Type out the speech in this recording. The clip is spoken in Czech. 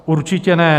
Určitě ne.